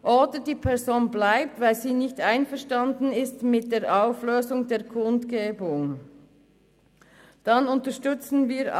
Oder die Person bleibt, weil sie mit der Auflösung der Kundgebung nicht einverstanden ist.